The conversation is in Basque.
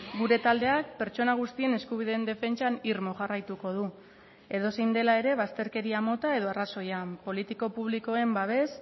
gure taldeak pertsona guztien eskubideen defentsan irmo jarraituko du edozein dela ere bazterkeria mota edo arrazoian politiko publikoen babes